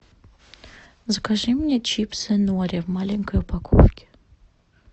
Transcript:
закажи мне чипсы нори в маленькой упаковке